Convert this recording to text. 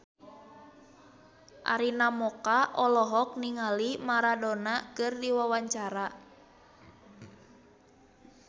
Arina Mocca olohok ningali Maradona keur diwawancara